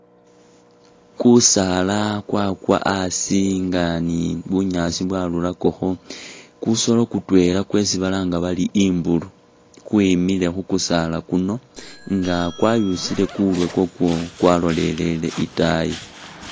Kusaala kwakwa asi nga ni bunyaasi bwarurakokho ,kusoolo kutwela kwesi balanga bari imbulu kwemile khu kusaala kuno nga kwayusile kurwe kwakwo kwalolelele itaayi